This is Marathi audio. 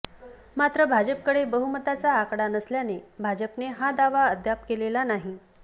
मात्र भाजपकडे बहुमताचा आकडा नसल्याने भाजपने हा दावा अद्याप केलेला नाही